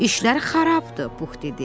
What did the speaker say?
İşləri xarabdır, Pux dedi.